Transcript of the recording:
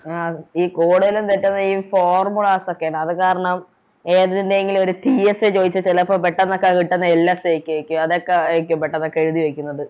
ആ ഈ Code ല് തെറ്റുന്നെ ഈ Formula ഒക്കെ ഉണ്ട് അത് കാരണം ഏതിൻറെങ്ങിലും ഓര് TSA ചോയിച്ചാൽ ചെലപ്പോ പെട്ടന്നൊക്കെ കിട്ടുന്നെ LSA ഒക്കെ ആരിക്കും അതൊക്കെയാരിക്കും പെട്ടെന്നൊക്കെ എഴുതി വെക്കുന്നത്